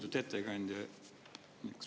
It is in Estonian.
Lugupeetud ettekandja!